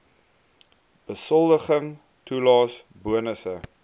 besoldiging toelaes bonusse